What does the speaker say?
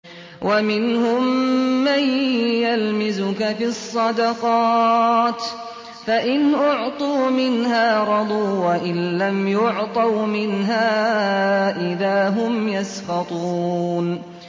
وَمِنْهُم مَّن يَلْمِزُكَ فِي الصَّدَقَاتِ فَإِنْ أُعْطُوا مِنْهَا رَضُوا وَإِن لَّمْ يُعْطَوْا مِنْهَا إِذَا هُمْ يَسْخَطُونَ